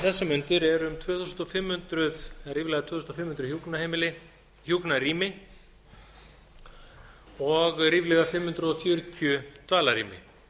þessar mundir eru ríflega tvö þúsund fimm hundruð hjúkrunarrými og ríflega fimm hundruð fjörutíu dvalarrými